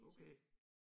Okay